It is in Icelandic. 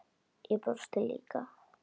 Ég brosti líka.